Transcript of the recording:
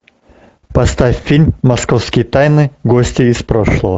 поставь фильм московские тайны гости из прошлого